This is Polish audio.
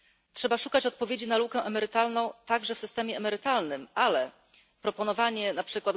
Trzeba szukać odpowiedzi na lukę emerytalną także w systemie emerytalnym, ale proponowanie np.